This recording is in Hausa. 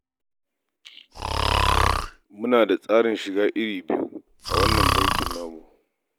Muna da tsarin shiga iri biyu a wannan bankin namu.